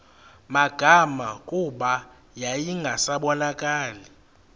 magama kuba yayingasabonakali